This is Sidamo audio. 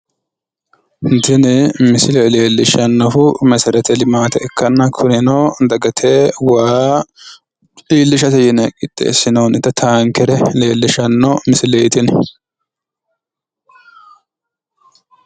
tini misile leellishshannohu meserete limaate ikkanna kunino dagate waa iillishate yine qixxeessinoonnita taankere leellishshanno misileeti tini